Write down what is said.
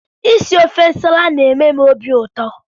Isi ofe nsala na-eme m obiụtọ